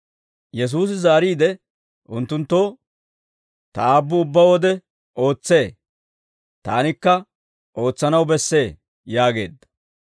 Yesuusi zaariide unttunttoo, «Ta Aabbu ubbaa wode ootsee; taanikka ootsanaw bessee» yaageedda.